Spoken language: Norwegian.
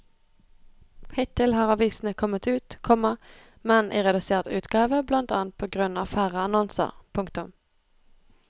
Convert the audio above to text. Hittil har avisene kommet ut, komma men i redusert utgave blant annet på grunn av færre annonser. punktum